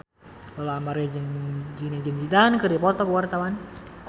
Lola Amaria jeung Zidane Zidane keur dipoto ku wartawan